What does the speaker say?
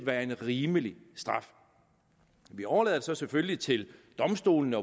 der er en rimelig straf vi overlader så selvfølgelig til domstolene